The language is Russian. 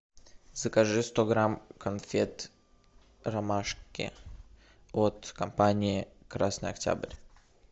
закажи сто грамм конфет ромашки от компании красный октябрь